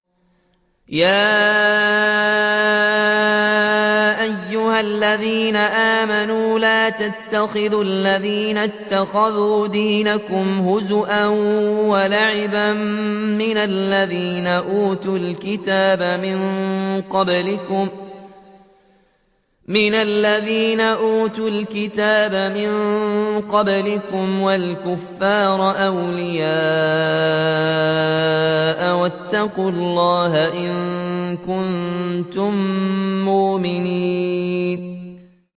يَا أَيُّهَا الَّذِينَ آمَنُوا لَا تَتَّخِذُوا الَّذِينَ اتَّخَذُوا دِينَكُمْ هُزُوًا وَلَعِبًا مِّنَ الَّذِينَ أُوتُوا الْكِتَابَ مِن قَبْلِكُمْ وَالْكُفَّارَ أَوْلِيَاءَ ۚ وَاتَّقُوا اللَّهَ إِن كُنتُم مُّؤْمِنِينَ